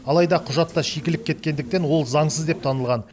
алайда құжатта шикілік кеткендіктен ол заңсыз деп танылған